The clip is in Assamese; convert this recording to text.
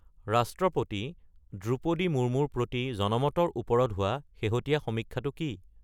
ৰাষ্ট্ৰপতি দ্ৰুপদী মুৰ্মুৰ প্ৰতি জনমতৰ ওপৰত হোৱা শেহতীয়া সমীক্ষাটো কি